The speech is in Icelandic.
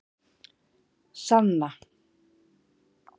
Sanna